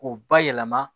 K'u bayɛlɛma